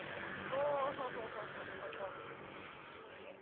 ಓಹೋಹೋಹೋಹೋ ಓಹೊ ಹಾಗೆ.